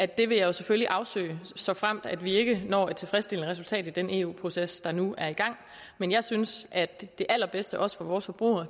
det vil jeg selvfølgelig afsøge såfremt vi ikke når et tilfredsstillende resultat i den eu proces der nu er i gang men jeg synes at det allerbedste også for vores forbrugere